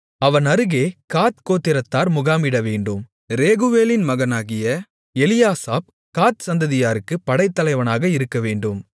அவன் அருகே காத் கோத்திரத்தார் முகாமிடவேண்டும் ரேகுவேலின் மகனாகிய எலியாசாப் காத் சந்ததியாருக்கு படைத்தலைவனாக இருக்கவேண்டும்